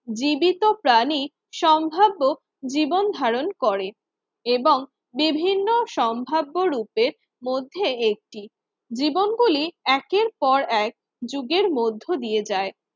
জীবিত প্রাণী সম্ভাব্য জীবন ধারণ করে এবং বিভিন্ন সম্ভাব্যরূপে মধ্যে একটি। জীবনগুলি একের পর এক যুগের মধ্য দিয়ে যায়